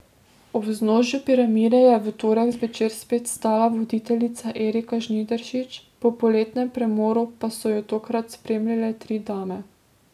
Ob vznožju Piramide je v torek zvečer spet stala voditeljica Erika Žnidaršič, po poletnem premoru pa so jo tokrat spremljale tri dame.